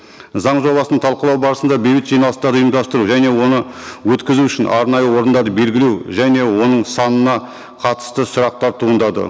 заң жобасын талқылау барысында бейбіт жиналыстар ұйымдастыру және оны өткізу үшін арнайы орындар белгілеу және оның санына қатысты сұрақтар туындады